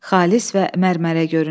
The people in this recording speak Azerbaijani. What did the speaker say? Xalis və mərmərə göründü.